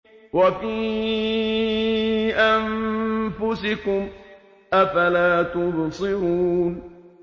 وَفِي أَنفُسِكُمْ ۚ أَفَلَا تُبْصِرُونَ